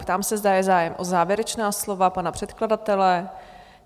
Ptám se, zda je zájem o závěrečná slova pana předkladatele?